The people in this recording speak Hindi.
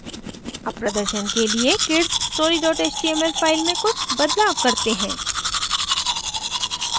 अब प्रदर्शन के लिए kidsstory html फ़ाइल में कुछ बदलाव करते हैं